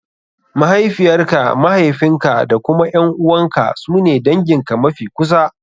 Mahaifiyar ka, mahaifin ka da kuma ƴan`uwan ka su ne dangin ka mafi kusa.